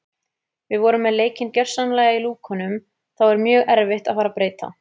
Við vorum með leikinn gjörsamlega í lúkunum þá er mjög erfitt að fara að breyta.